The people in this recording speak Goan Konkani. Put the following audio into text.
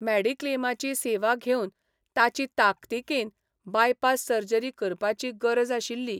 मॅडिक्लेमाची सेवा घेवन ताची ताकतिकेन बाय पास सर्जरी करपाची गरज आशिल्ली.